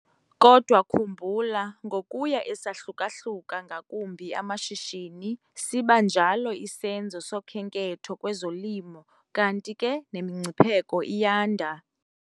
Kodwa khumbula, ngokuya esahluka-hluka ngakumbi amashishini, siba njalo isenzo sokhenketho kwezolimo, kanti ke nemingcipheko iyanda.